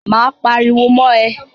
Máa pariwo mọ́ ẹ.